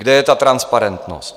Kde je ta transparentnost?